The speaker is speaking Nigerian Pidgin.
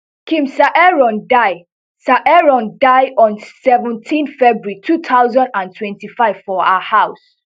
kim saeron die saeron die on seventeen february two thousand and twenty-five for her house